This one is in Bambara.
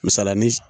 Misalanin